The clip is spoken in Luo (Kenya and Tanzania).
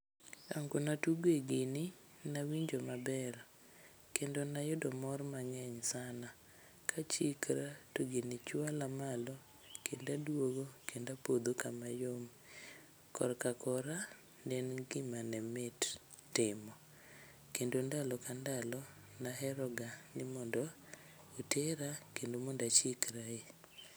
Ango na tuge gini, nawinjo maber. Kendo nayudo mor mang'eny sana. Kachikra to gini chwala malo kendadwogo kendapodho kama yom. Korka kora, ne en gima ne mit timo. Kendo ndalo ka ndalo, naheroga ni mondo otera kendo mondachikrae.